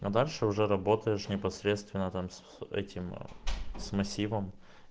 а дальше уже работаешь непосредственно там с этим с массивом